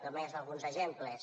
només alguns exemples